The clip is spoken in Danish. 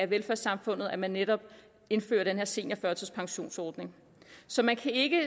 velfærdssamfundet at man netop indfører den her seniorførtidspensionsordning så man kan ikke